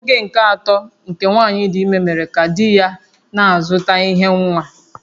Oge nke atọ nke nwanyị dị ime mere ka di ya na-azụta ihe nwa